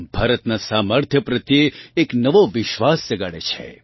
ભારતનાં સામર્થ્ય પ્રત્યે એક નવો વિશ્વાસ જગાડે છે